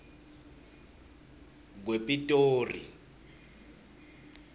kwepitori